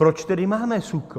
Proč tedy máme SÚKL?